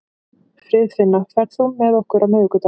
Friðfinna, ferð þú með okkur á miðvikudaginn?